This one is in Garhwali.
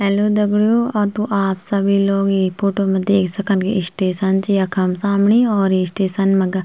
हेल्लो दगडियों औ त आप सभी लोग ई फोटो मा देख सकन की स्टेशन च यखम सामणी और ये स्टेशन मगा --